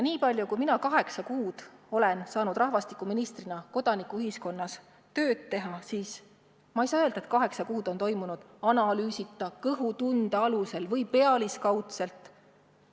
Niipalju, kui mina olen kaheksa kuu jooksul saanud rahvastikuministrina kodanikuühiskonnas tööd teha, ei saa ma öelda, et oleks toimitud analüüsita, kõhutunde alusel või pealiskaudselt.